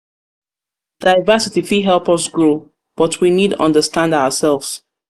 diversity fit help us grow but we need understand ourselves.